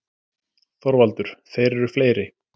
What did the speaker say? ÞORVALDUR: Þeir eru fleiri.